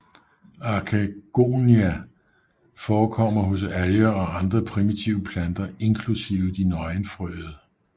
Arkegonia forekommer hos alger og andre primitive planter inklusive de nøgenfrøede